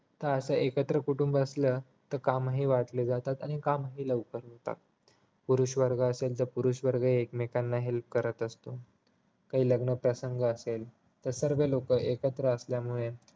क असं एकत्र कुटुंब असलं तर कामही वाटली जातात आणि कामही लवकर होतात पुरुष वर्ग असेल तर पुरुष वर्ग एकमेकाला help करत असतो काही लग्न प्रसंग असेल तर सर्व लोक असल्यामुळे